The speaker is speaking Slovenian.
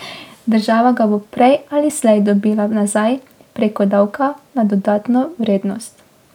Država ga bo prej ali slej dobila nazaj prek davka na dodano vrednost.